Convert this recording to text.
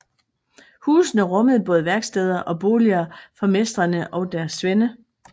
Husene rummede både værksteder og boliger for mestrene og deres svende